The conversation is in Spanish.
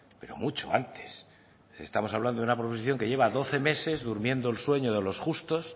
pero mucho antes estamos hablando de una proposición que lleva doce meses durmiendo el sueño de los justos